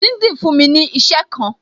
LinkedIn fún mi ní isẹ kan